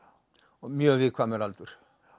mjög viðkvæmur aldur